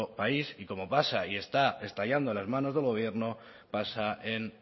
país y como pasa y está estallando en las manos del gobierno pasa en